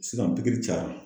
Sisan pikiri cayara.